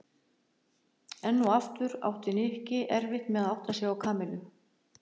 Enn og aftur átti Nikki erfitt með að átta sig á Kamillu.